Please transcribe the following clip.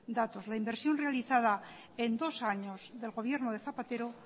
datos la inversión realizada en dos años del gobierno de zapatero